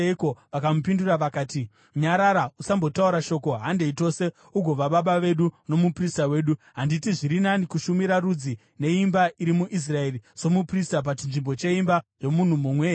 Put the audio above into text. Vakamupindura vakati, “Nyarara! Usambotaura shoko. Handei tose, ugova baba vedu nomuprista wedu. Handiti zviri nani kushumira rudzi neimba iri muIsraeri somuprista pachinzvimbo cheimba yomunhu mumwe here?”